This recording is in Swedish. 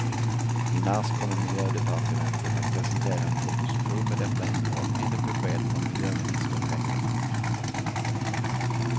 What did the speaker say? I mars kommer miljödepartementet att presentera en proposition med detta innehåll, enligt besked från miljöministern i veckan.